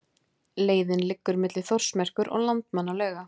Leiðin liggur milli Þórsmerkur og Landmannalauga.